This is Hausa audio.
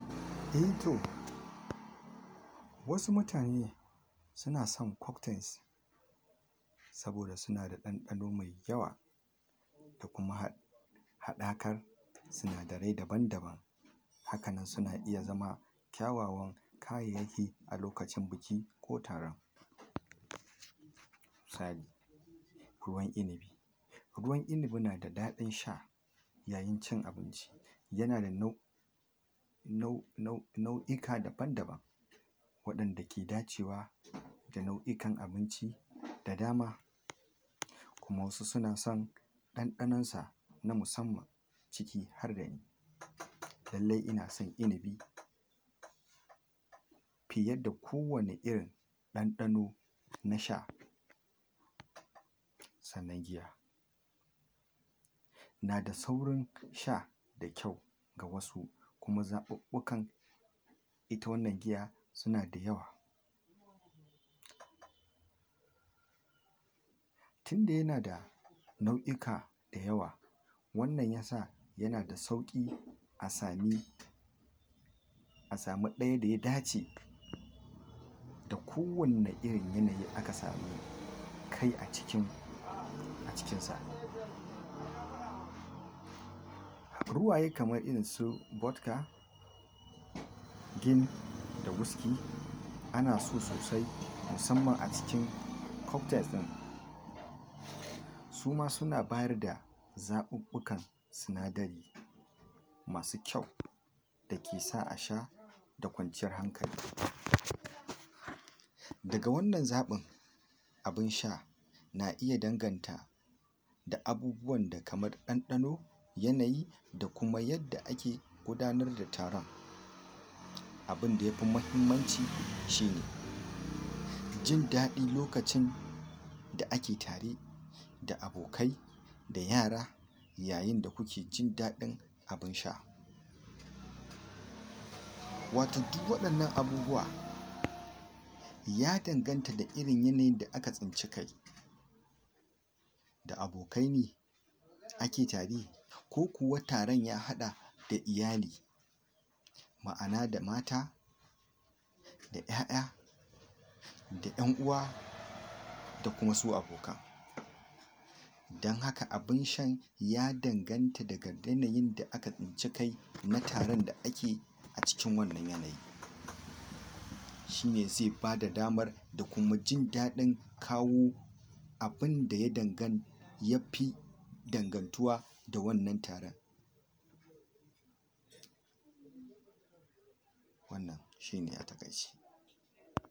Eh to wasu mutane suna son koktains, saboda suna da ɗanɗano mai yawa da kuma haɗ haɗakar sinadari daban daban, haka nan suna iya zama kyawawan kayayyaki a lokacin biki ko taron misali: Ruwan inibi ruwan inibi nada ɗaɗin sha yayin cin abinci yana da nau nau nau nau'ika daban daban, waɗanda ke dacewa da nau'ikan abinci da dama, kuma wasu suna san ɗanɗanonsa na musamman ciki har da ni, lalle ina san inibi fiye da kowane irin ɗanɗano na sha, sannan giya nada saurin sha da kyau ga wasu kuma zaɓuɓɓukan ita wannan giya suna da yawa tinda yana da nau'ika da yawa wannan yasa yana da sauƙi a sami a sami ɗaya da ya dace da kowanne irin yanayi aka sami kai a cikin a cikinsa, ruwaye kamar irinsu gotka gin, da wiski, ana so sosai musamman a cikin koktais ɗin, suma suna bayarda zaɓuɓɓukan sinadari masu kyau, da ke sa a sha da kwanciyar hankali, daga wannan zaɓin abin sha na iya danganta da abubuwanda kamar ɗanɗano, yanayi, da kuma yadda ake gudanar da taron abinda yafi mahimmanci shine jin daɗi lokacin da ake tare da abokai, da yara, yayin da kuke jin daɗin abin sha, watan duwwaɗannan abubuwa ya danganta da irin yanayin da aka tsinci kai, da abokai ne ake tare, kokuwa taron ya haɗa da iyali ma'ana da mata, da ƴaƴa, da ƴan uwa, da kuma su abokan, dan haka abin sha ya danganta daga yanayin da aka tsinci kai mutanen da ake a cikin wannan yanayi, shine ze bada damar da kuma jin daɗin kawo abinda ya dangan yafi dangantuwa da wannan taran, wannan shine a taƙaice.